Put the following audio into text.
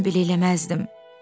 mən belə eləməzdim.